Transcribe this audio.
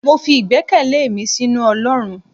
mọ fí igbèkéle mí sinú olorún